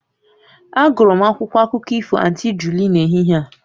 Agụrụ m akwụkwọ akụkọ ifo Aunty Julie n'ehihie a